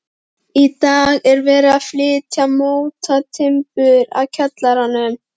Í dag er verið að flytja mótatimbur að kjallaranum.